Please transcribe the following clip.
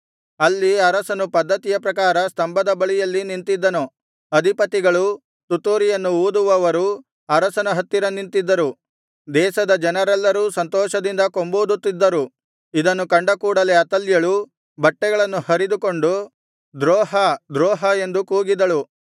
ಅಲ್ಲಿ ಅರಸನು ಪದ್ದತಿಯ ಪ್ರಕಾರ ಸ್ತಂಭದ ಬಳಿಯಲ್ಲಿ ನಿಂತಿದ್ದನು ಅಧಿಪತಿಗಳೂ ತುತ್ತೂರಿಯನ್ನು ಊದುವವರೂ ಅರಸನ ಹತ್ತಿರ ನಿಂತಿದ್ದರು ದೇಶದ ಜನರೆಲ್ಲರೂ ಸಂತೋಷದಿಂದ ಕೊಂಬೂದುತ್ತಿದ್ದರು ಇದನ್ನು ಕಂಡ ಕೂಡಲೆ ಅತಲ್ಯಳು ಬಟ್ಟೆಗಳನ್ನು ಹರಿದುಕೊಂಡು ದ್ರೋಹ ದ್ರೋಹ ಎಂದು ಕೂಗಿದಳು